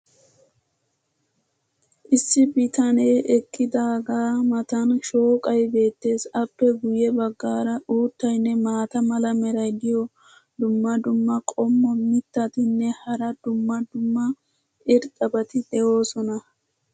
issi bitanee eqidaagaa matan shooqay beetees. appe guye bagaara uuttaynne maata mala meray diyo dumma dumma qommo mitattinne hara dumma dumma irxxabati de'oosona.